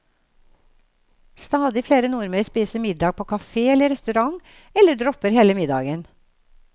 Stadig flere nordmenn spiser middag på kafé eller restaurant, eller dropper hele middagen.